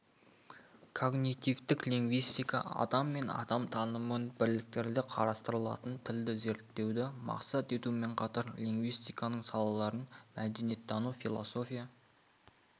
когнитивтік лингвистика адам мен адам танымын бірлікте қарастыратын тілді зерттеуді мақсат етумен қатар лингвистиканың салаларын мәдениеттану философия